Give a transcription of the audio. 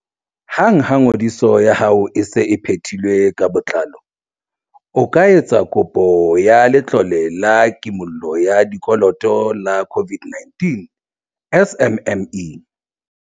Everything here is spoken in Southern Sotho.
Hang ha ngodiso ya hao e se e phethilwe ka botlalo, o ka etsa kopo ya Letlole la Kimollo ya Dikoloto la COVID-19 SMME.